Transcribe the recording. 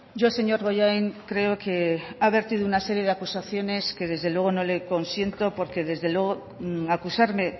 yo señor bollain creo que ha vertido una serie de acusaciones que desde luego no le consiento porque desde luego acusarme